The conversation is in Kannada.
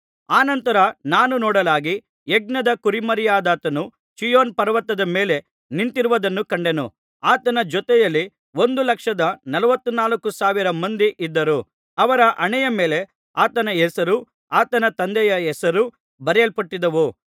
ಆನಂತರ ನಾನು ನೋಡಲಾಗಿ ಯಜ್ಞದ ಕುರಿಮರಿಯಾದಾತನು ಚೀಯೋನ್ ಪರ್ವತದ ಮೇಲೆ ನಿಂತಿರುವುದನ್ನು ಕಂಡೆನು ಆತನ ಜೊತೆಯಲ್ಲಿ ಒಂದು ಲಕ್ಷದ ನಲವತ್ತನಾಲ್ಕು ಸಾವಿರ ಮಂದಿ ಇದ್ದರು ಅವರ ಹಣೆಯ ಮೇಲೆ ಆತನ ಹೆಸರೂ ಆತನ ತಂದೆಯ ಹೆಸರೂ ಬರೆಯಲ್ಪಟ್ಟಿದ್ದವು